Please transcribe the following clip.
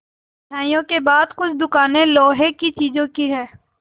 मिठाइयों के बाद कुछ दुकानें लोहे की चीज़ों की हैं